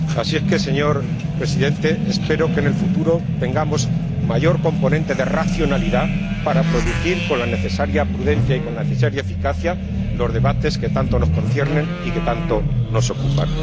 Así que, señor Presidente, espero que en el futuro tengamos un mayor componente de racionalidad para producir con la necesaria prudencia y la necesaria eficacia los debates que tanto nos conciernen y tanto nos ocupan.